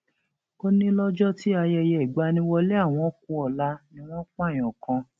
ó ní lọjọ tí ayẹyẹ ìgbaniwọlẹ àwọn ku ọla ni wọn pààyàn kan